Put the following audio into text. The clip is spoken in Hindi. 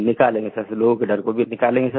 निकालेंगे सर लोगों के डर को भी निकालेंगे सर